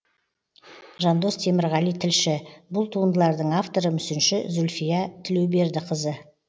жандос темірғали тілші бұл туындылардың авторы мүсінші зульфия тілеубердіқызы